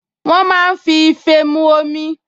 Wọ́n máa ń fi ife mu omi